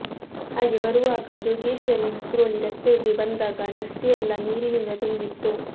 ಹಾಗೆ ಬರುವಾಗ ಜೋಗೇಶ್ವರಿ ವಿಕ್ರೋಲಿ ರಸ್ತೆಗೆ ಬಂದಾಗ ರಸ್ತೆಯೆಲ್ಲಾ ನೀರಿನಿಂದ ತುಂಬಿತ್ತು